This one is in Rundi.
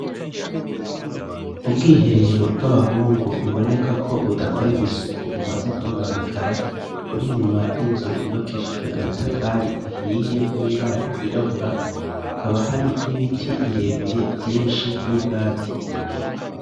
Ubwiherero bw'abahungu biboneka ko budakorerwa isuku bumaze kubononekara uri nyuma y'inzu yubakishijwe amatafari ahiye n'ibararyirabura hakaba hari n'ibiti birebire vyinshi n'ubwatsi.